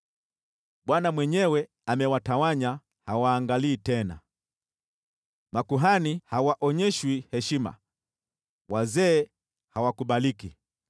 Bwana mwenyewe amewatawanya; hawaangalii tena. Makuhani hawaonyeshwi heshima, wazee hawakubaliki.